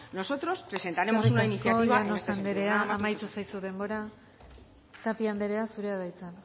nosotros presentaremos una iniciativa en esta legislatura eskerrik asko llanos andrea amaitu zaizu denbora tapia andrea zurea da hitza